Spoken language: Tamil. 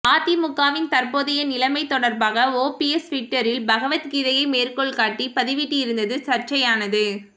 அதிமுகவின் தற்போதைய நிலைமை தொடர்பாக ஓபிஎஸ் ட்விட்டரில் பகவத் கீதையை மேற்கோள் காட்டி பதிவிட்டிருந்தது சர்ச்சையானது